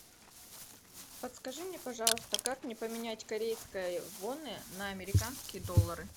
подскажи мне пожалуйста как мне поменять корейские воны на американские доллары